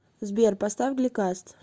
сбер поставь гли каст